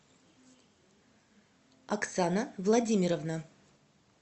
оксана владимировна